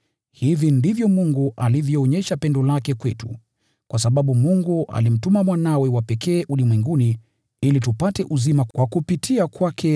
Hivi ndivyo Mungu alivyoonyesha pendo lake kwetu: Mungu alimtuma Mwanawe wa pekee ulimwenguni, ili tupate uzima kupitia kwake.